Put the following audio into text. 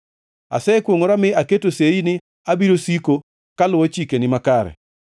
Asekwongʼora mi aketo sei ni abiro siko kaluwo chikeni makare.